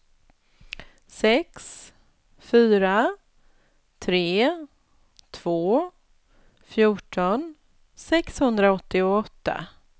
sex fyra tre två fjorton sexhundraåttioåtta